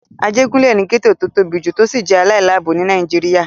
Ajégúnlè ni gẹ́ẹ́tò tó tóbi jù tó sì jẹ́ aláìláàbò ní Nàìjíríyà